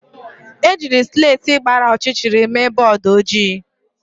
Ejiri slèti gbara ọchịchịrị mee bọọdụ ojii.